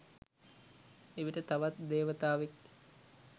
එවිට තවත් දේවතාවෙක්